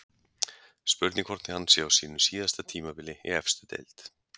Spurning hvort hann sé á sínu síðasta tímabili í efstu deild?